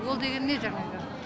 ол деген не жаңағы